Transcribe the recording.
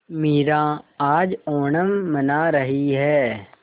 मीरा आज ओणम मना रही है